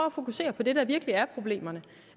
at fokusere på det der virkelig er problemerne